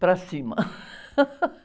Para cima.